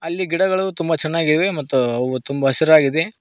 ಅಲ್ಲಿ ಗಿಡಗಳು ತುಂಬ ಚೆನ್ನಾಗಿವೆ ಮತ್ತು ಅವು ತುಂಬ ಹಸಿರಾಗಿದೆ.